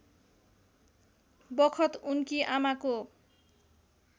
बखत उनकी आमाको